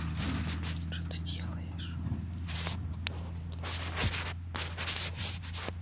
что ты делаешь